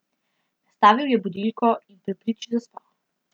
Nastavil je budilko in pri priči zaspal.